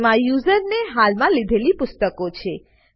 જેમાં યુઝરે હાલમાં લીધેલી પુસ્તકો છે